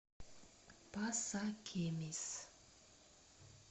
пасакемис